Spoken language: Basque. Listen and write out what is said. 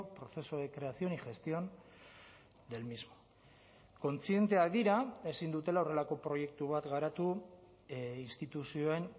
proceso de creación y gestión del mismo kontzienteak dira ezin dutela horrelako proiektu bat garatu instituzioen